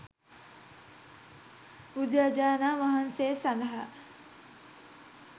බුදුරජාණන් වහන්සේ සඳහා